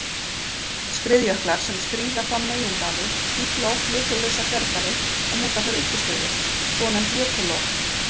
Skriðjöklar sem skríða fram megindali stífla oft jökullausa þverdali og mynda þar uppistöður, svonefnd jökullón.